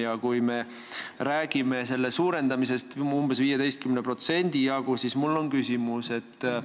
Ja kui me räägime summa suurendamisest umbes 15% võrra, siis mul on küsimus, mille arvelt see tuleb.